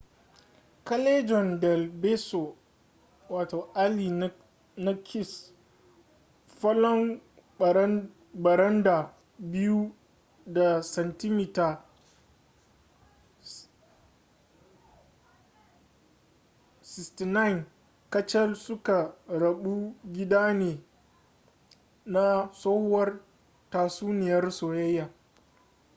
callejon del beso alley na kiss. falon baranda biyu da santimita 69 kacal suka rabu gida ne na tsohuwar tatsuniyar soyayya